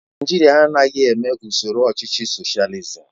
Naijiria anaghị eme usoro ọchịchị soshializim